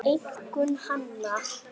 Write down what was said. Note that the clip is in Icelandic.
Einkum hana.